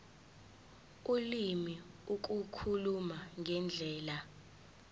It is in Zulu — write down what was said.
ulimi ukukhuluma ngendlela